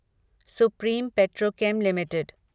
supreme Petrochem limited